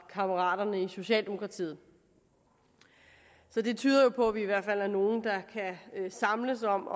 kammeraterne i socialdemokratiet så det tyder jo på at vi i hvert fald er nogle der kan samles om